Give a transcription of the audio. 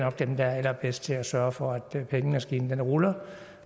af dem der er allerbedst til at sørge for at pengemaskinen ruller